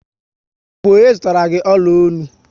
Ọ bụ ọnye zụtara gị ọla ọnụ?